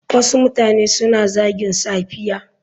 Wasu mutane suna zagin safiya.